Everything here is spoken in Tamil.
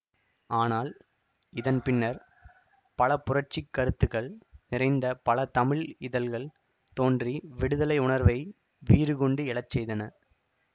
ஆனால் இதன் பின்னர் பல புரட்சி கருத்துகள் நிறைந்த பல தமிழ் இதழ்கள் தோன்றி விடுதலை உணர்வை வீறுகொண்டு எழச்செய்தன